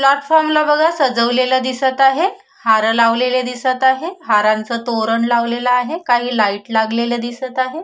Platform ला बघा सजवलेल दिसत आहे हार लावलेल दिसत आहे हारांच तोरण लावलेल आहे काही लाइट लागलेल्या दिसत आहे.